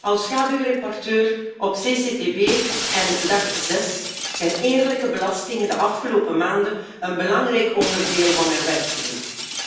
Als schaduwrapporteur op CCTB en DAC6 zijn eerlijke belastingen de afgelopen maanden een belangrijk onderdeel van mijn werk geweest.